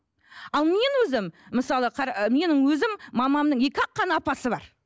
ал мен өзім мысалы менің өзім мамамның екі ақ қана апасы бар